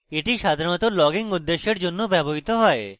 এটি সাধারণত logging উদ্দেশ্যের জন্য ব্যবহৃত হয়